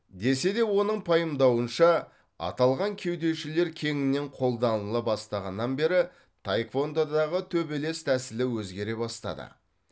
десе де оның пайымдауынша аталған кеудешелер кеңінен қолданыла бастағаннан бері таеквондодағы төбелес тәсілі өзгере бастады